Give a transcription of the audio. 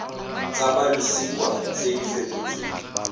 tsa bolosika tse di fetotsweng